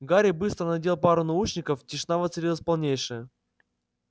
гарри быстро надел пару наушников тишина воцарилась полнейшая